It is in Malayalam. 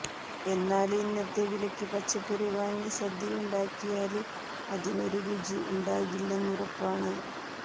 എന്നാല് ഇന്നത്തെ വിലക്ക് പച്ചക്കറി വാങ്ങി സദ്യയുണ്ടാക്കിയാല് അതിനൊരു രുചി ഉണ്ടാകില്ലെന്നുറപ്പാണ്